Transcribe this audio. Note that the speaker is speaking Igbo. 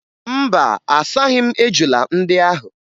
Mba, asaghị m ejula ndị ahụ